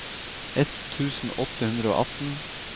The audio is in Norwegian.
ett tusen åtte hundre og atten